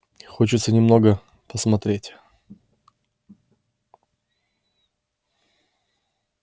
хочется немного посмотреть